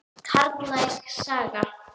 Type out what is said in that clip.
Karllæg saga?